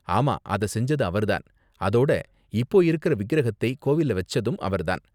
ஆமா அத செஞ்சது அவர் தான், அதோட இப்போ இருக்குற விக்கிரகத்தை கோவில்ல வெச்சதும் அவர் தான்.